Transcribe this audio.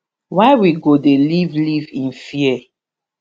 why we go dey live live in fear